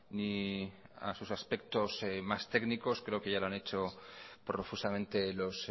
ni a sus aspectos más técnicos creo que ya lo han hecho profusamente los